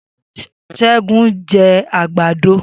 Segun jẹ àgbàdo